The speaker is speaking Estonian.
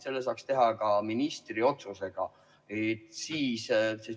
Seda saaks teha ka ministri otsusega.